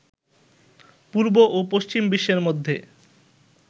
পূর্ব ও পশ্চিম বিশ্বের মধ্যে